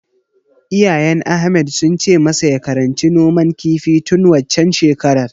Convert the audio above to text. Iyayen Ahmad sun ce masa ya karanci noman kifi tun waccen shekarar.